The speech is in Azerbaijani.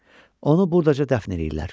Onu burdaca dəfn eləyirlər.